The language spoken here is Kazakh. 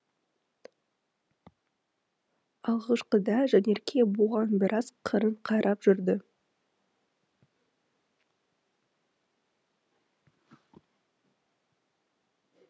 алғашқыда жанерке бұған біраз қырын қарап жүрді